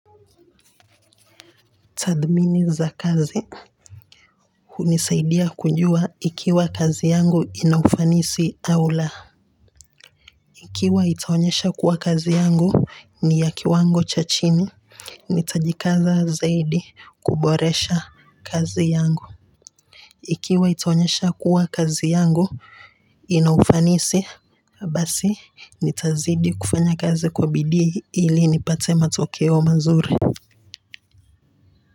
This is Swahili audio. Tathmini za kazi hunisaidia kujua ikiwa kazi yangu ina ufanisi au laa ikiwa itaonyesha kuwa kazi yangu ni ya kiwango cha chini. Nitajikaza zaidi kuboresha kazi yangu ikiwa itaonyesha kuwa kazi yangu ina ufanisi basi nitazidi kufanya kazi kwa bidii ili nipate matokeo mazuri.